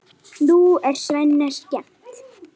Nú er Svenna skemmt.